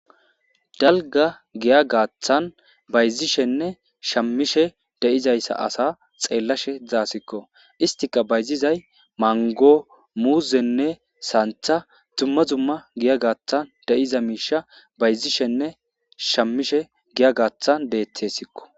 Dalga giya gathan bayzishenne shamishe de'izaysa asa xelashe daysiko issitika bayzizay mango,muzenne santha duma duma giya gathan de'iza misha bayzishenne shamishe giya gathan detesko.